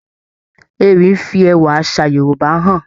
Ewì ń fi ẹwà àṣà Yorúbá hàn.